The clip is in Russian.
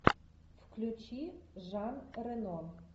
включи жан рено